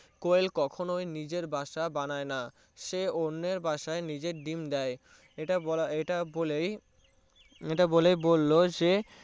কোয়েল কখনোই নিজের বাসা বানাবেনা সে অন্যের বাসায় নিজের ডিম্ দিয়ে ইটা বলেই ইটা বলে বললো যে